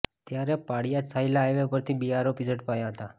ત્યારે પાળીયાદ સાયલા હાઇવે પર થી બે આરોપી ઝડપાયા હતા